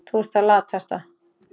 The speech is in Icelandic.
Þú ert það latasta.